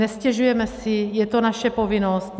Nestěžujeme si, je to naše povinnost.